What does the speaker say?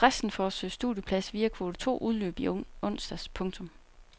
Fristen for at søge studieplads via kvote to udløb i onsdags. punktum